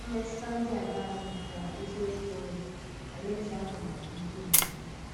Mmètùtù̀ dị àṅàa um kà eziokwu um Àláèzè àhụ̀ n’ahụ́ ndí mmádù̀ taa?